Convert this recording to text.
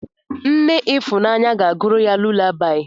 Nne Ifunanya ga-agụrụ ya lulabaị.